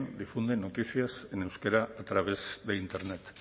difunden noticias en euskera a través de internet